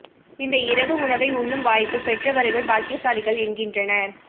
இந்த இரவு உணவை உண்ணும் வாய்ப்புப் பெற்றவர்கள் பாக்கியசாலிகள் என்கின்றனர்